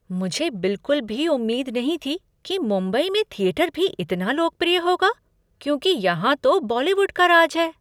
मुझे बिलकुल भी उम्मीद नहीं थी कि मुंबई में थिएटर भी इतना लोकप्रिय होगा क्योंकि यहाँ तो बॉलीवुड का राज है।